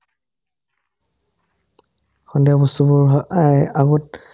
সন্ধিয়া বস্তুবোৰ হয় অএ আগত